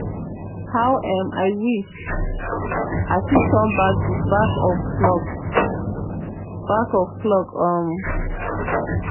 how um i wish i fit turn back di back of clock. back of clock. um